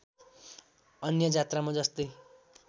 अन्य जात्रामा जस्तै